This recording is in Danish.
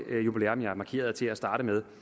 jubilæum jeg markerede til at starte med